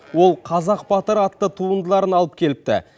ол қазақ батыры атты туындыларын алып келіпті